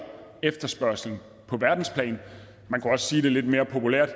efterspørgslen på verdensplan man kunne også sige det lidt mere populært